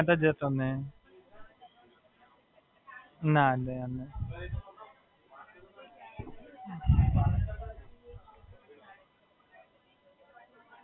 ના, ના, હમણાં તો નહીં, હમણાં તો જગડો થયો છે એટલે ત્યાં તો જતો જ નહીં.